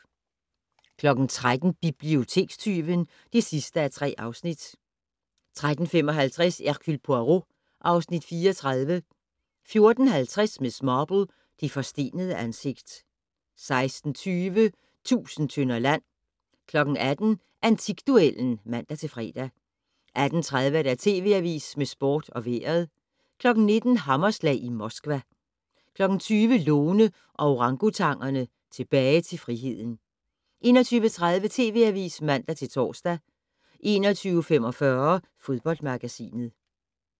13:00: Bibliotekstyven (3:3) 13:55: Hercule Poirot (Afs. 34) 14:50: Miss Marple: Det forstenede ansigt 16:20: Tusind tønder land 18:00: Antikduellen (man-fre) 18:30: TV Avisen med Sport og Vejret 19:00: Hammerslag i Moskva 20:00: Lone og orangutangerne - Tilbage til friheden 21:30: TV Avisen (man-tor) 21:45: Fodboldmagasinet